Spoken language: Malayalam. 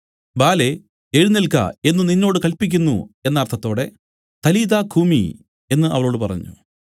ബാലേ എഴുന്നേല്ക്ക എന്നു നിന്നോട് കല്പിക്കുന്നു എന്ന അർത്ഥത്തോടെ തലീഥാ കൂമി എന്നു അവളോട് പറഞ്ഞു